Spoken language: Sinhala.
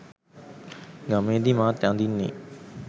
ගමේදි මාත් අඳින්නෙ